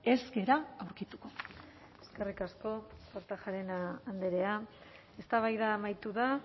ez gara aurkituko eskerrik asko kortajarena andrea eztabaida amaitu da